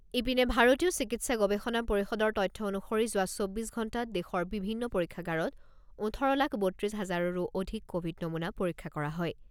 ইপিনে ভাৰতীয় চিকিৎসা গৱেষণা পৰিষদৰ তথ্য অনুসৰি যোৱা চৌব্বিছ ঘণ্টাত দেশৰ বিভিন্ন পৰীক্ষাগাৰত ওঠৰ লাখ বত্ৰিছ হাজাৰৰো অধিক ক'ভিড নমুনা পৰীক্ষা কৰা হয়।